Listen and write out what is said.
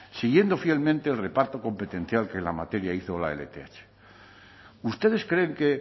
siguiendo fielmente el reparto competencial que en la materia hizo la lth ustedes creen que